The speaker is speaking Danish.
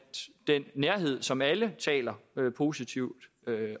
den nærhed som alle taler positivt